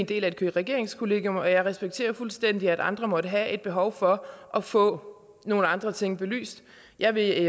del af et regeringskollegium og jeg respekterer fuldstændig at andre måtte have et behov for at få nogle andre ting belyst jeg vil